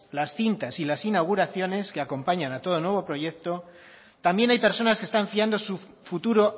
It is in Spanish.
las cintas y las inauguraciones que acompañan a todo nuevo proyecto también hay personas que están fiando su futuro